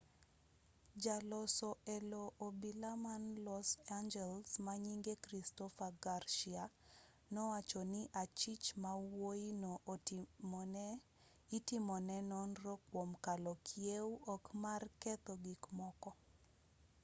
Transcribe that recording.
jaloso elo obila man los angeles manyinge christopher garcia nowacho ni achich mawuoyi no itimone nonro kuom kalo kiew ok mar ketho gikmoko